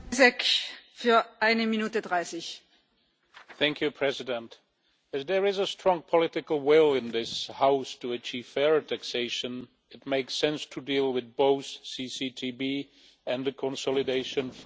Madam President, if there is a strong political will in this House to achieve fairer taxation, it makes sense to deal with both CCTB and the consolidation file together.